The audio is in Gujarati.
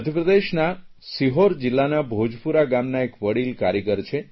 મધ્યપ્રદેશના સીહોર જિલ્લાના ભોજપુરા ગામના એક વડિલ કારીગર છે